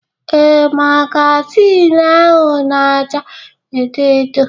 Ee, magazin ahụ na acha edo edo